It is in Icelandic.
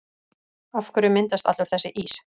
Af hverju myndast allur þessi ís?